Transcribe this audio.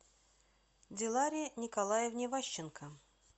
диларе николаевне ващенко